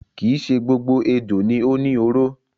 Kii ṣe gbogbo ejò ni ó ni oró.